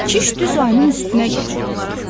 Kişi düz ayının üstünə gəlirdi.